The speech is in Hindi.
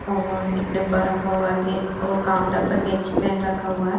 और एक डिब्बा रखा हुआ हैऔर काउंटर पर कैची पेन रखा हुआ है।